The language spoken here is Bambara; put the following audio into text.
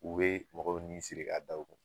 U bɛ mɔgɔw nin siri k'a da u kun.